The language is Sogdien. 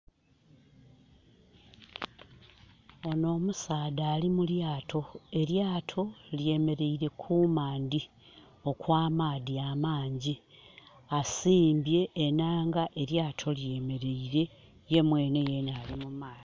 Ono omusaadha ali mu lyato elyato lyemeleire ku mandhi okw'amaadhi amangi. Asimbye enanga elyato lyemeleire ye mwenhe yeena ali mu maadhi.